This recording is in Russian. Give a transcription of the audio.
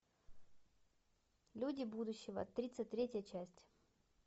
люди будущего тридцать третья часть